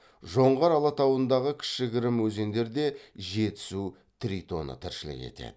жоңғар алатауындағы кішігірім өзендерде жетісу тритоны тіршілік етеді